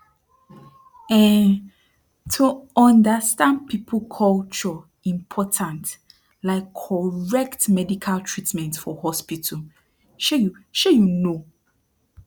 emm to understand people culture important like correct medical treatment for hospital shey you shey you know